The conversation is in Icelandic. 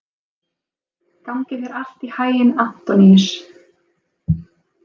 Gangi þér allt í haginn, Antoníus.